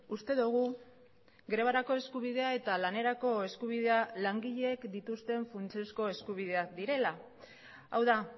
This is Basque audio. uste dugu grebarako eskubidea eta lanerako eskubidea langileek dituzten funtsezko eskubideak direla hau da